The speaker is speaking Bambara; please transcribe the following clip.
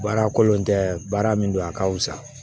Baara kolen tɛ baara min don a ka fisa